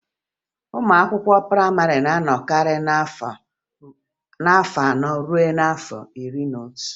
Ụmụ akwụkwọ prayịmarị na-anọkarị n'afọ anọ ruo n'afọ iri n'otu